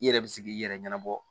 I yɛrɛ bi se k'i yɛrɛ ɲɛnabɔ